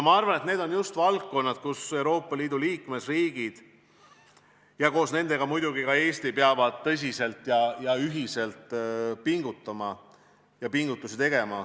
Ma arvan, et need on just need valdkonnad, kus Euroopa Liidu liikmesriigid – ja koos teistega muidugi ka Eesti – peavad tõsiselt ja ühiselt pingutama.